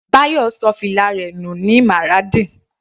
Bayo ṣọ fìlà rẹ̀ nù Maradi.